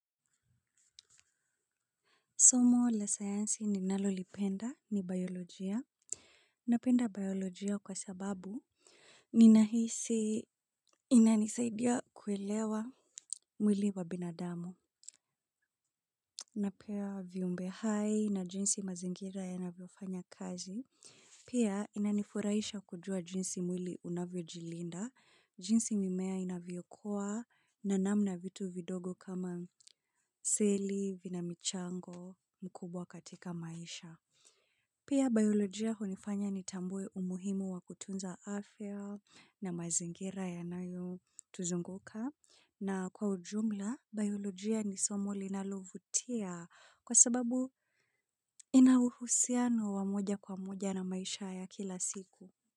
Somo la sayansi ninalolipenda ni bayolojia. Napenda biolojia kwa sababu ninahisi inanisaidia kuelewa mwili wa binadamu. Napenda viumbe hai na jinsi mazingira yanavyofanya kazi. Pia inanifurahisha kujua jinsi mwili unavyojilinda. Jinsi mimea inavyokua na namna vitu vidogo kama seli, vina michango, mkubwa katika maisha. Pia bayolojia hunifanya nitambue umuhimu wa kutunza afya na mazingira yanayotuzunguka na kwa ujumla bayolojia ni somo linalovutia kwa sababu ina uhusiano wa moja kwa moja na maisha ya kila siku.